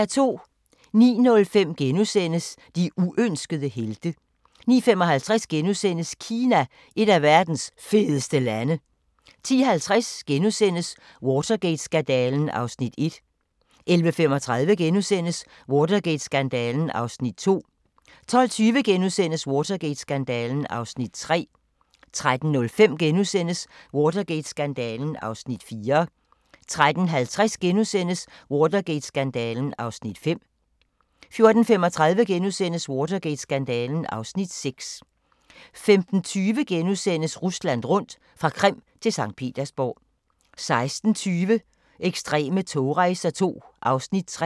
09:05: De uønskede helte * 09:55: Kina – et af verdens fedeste lande * 10:50: Watergate-skandalen (Afs. 1)* 11:35: Watergate-skandalen (Afs. 2)* 12:20: Watergate-skandalen (Afs. 3)* 13:05: Watergate-skandalen (Afs. 4)* 13:50: Watergate-skandalen (Afs. 5)* 14:35: Watergate-skandalen (Afs. 6)* 15:20: Rusland rundt – fra Krim til Skt. Petersborg * 16:20: Ekstreme togrejser II (3:6)